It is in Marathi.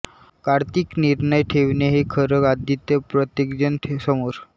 कार्तिक निर्णय ठेवणे हे खरं आदित्य प्रत्येकजण समोर